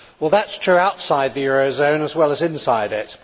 That is true outside the eurozone as well as inside it.